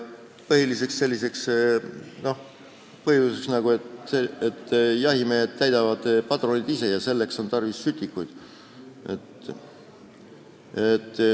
Põhiliseks põhjuseks on see, et jahimehed täidavad padruneid ise ja selleks on tarvis sütikuid.